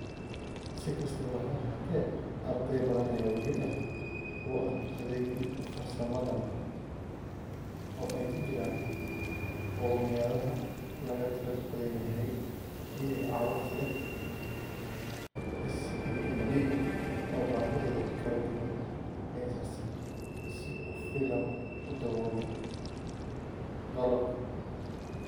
Si kastaba ha ahaatee, arday badan ayaa weli ah kuwo aan u adeegin farsamadan, oo ay ku jiraan qowmiyadaha laga tirada badan yahay iyo carruurta leh SEND oo baahidooda kala duwan aysan si ku filan u daboolin qalabkan.